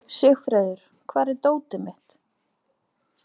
Sigfreður, hvar er dótið mitt?